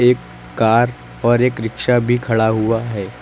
एक कार और एक रिक्शा भी खड़ा हुआ है।